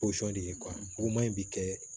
Posɔn de ye in bɛ kɛ